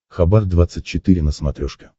хабар двадцать четыре на смотрешке